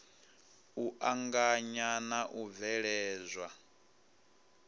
u anganya na u bveledzwa